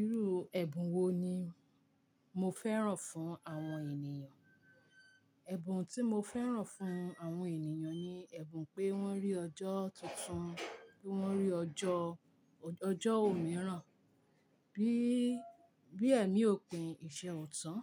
Irú ẹ̀bùn wo ni mo fẹ́ràn fún àwọn ènìyàn? Ẹ̀bùn tí mo fẹ́ràn fún àwọn ènìyàn ni ẹ̀bùn pé wọ́n rí ọjọ́ tuntun, pé wọ́n rí ọjọ́, ọjọ́ òmíràn. Bí, bí ẹ̀mí òpin ìṣe ọ̀tán,